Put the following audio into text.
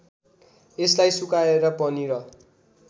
यसलाई सुकाएर पनिर